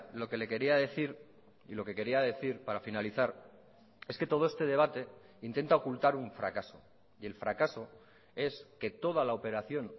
lo que le quería decir y lo que quería decir para finalizar es que todo este debate intenta ocultar un fracaso y el fracaso es que toda la operación